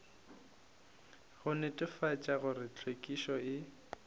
go netefatša gore hlwekišo e